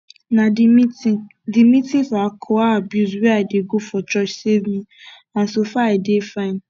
na the meeting the meeting for alcohol abuse wey i dey go for church save me and so far i dey fine